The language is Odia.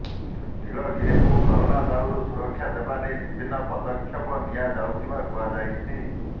ନୀଳଗିରିକୁ କରୋନା ଦାଉରୁ ସୁରକ୍ଷା ଦେବା ନେଇ ବିଭିନ୍ନ ପଦକ୍ଷପ ନିଆ ଯାଇଥିବା କୁହାଯାଇଛି